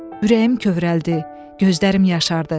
Ürəyim kövrəldi, gözlərim yaşardı.